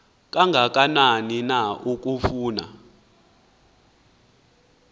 kangakanani na akufani